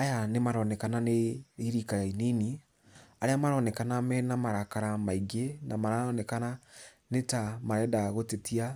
Aya nĩ maronekena nĩ rika inini, arĩa maronekana mena marakara maingĩ, na maronekana nĩ ta marenda gũtetia